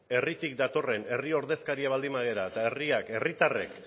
herritik datorren herri ordezkaria baldin bagara eta herriak herritarren